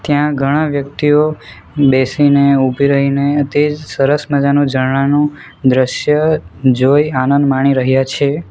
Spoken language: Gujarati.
ત્યાં ઘણા વ્યક્તિઓ બેસીને ઉભી રહી ને તે જ સરસ મજાનું ઝરણાનું દ્રશ્ય જોઈ આનંદ માણી રહ્યા છે.